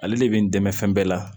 Ale de bɛ n dɛmɛ fɛn bɛɛ la